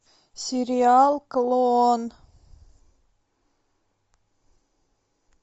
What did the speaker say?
сериал клон